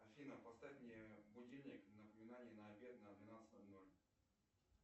афина поставь мне будильник напоминание на обед на двенадцать ноль ноль